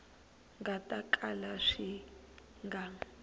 nga ta kala swi nga